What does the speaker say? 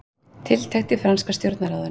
Tiltekt í franska stjórnarráðinu